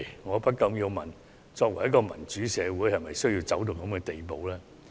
我不禁要問，作為一個民主社會，是否需要走到這種地步？